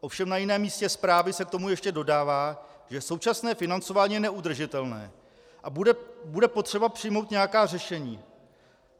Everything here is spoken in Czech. Ovšem na jiném místě zprávy se k tomu ještě dodává, že současné financování je neudržitelné a bude potřeba přijmout nějaká řešení.